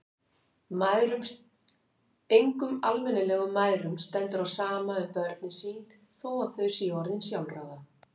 Engum almennilegum mæðrum stendur á sama um börnin sín þó að þau séu orðin sjálfráða.